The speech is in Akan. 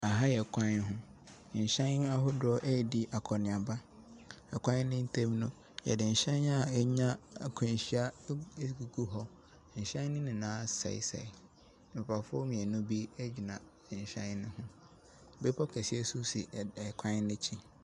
Aha yɛ kwan ho. Nhyɛn ahodoɔ redi akɔneaba. Kwan no ntam no, yɛde nhyɛn a anya akwanhyia agugu hɔ. Ahyɛn no nyinaa asɛesɛe. Nkrɔfoɔ mmienu bi egyina nhyɛn no ho. Bepɔ kɛseɛ nso si kwan no akyi.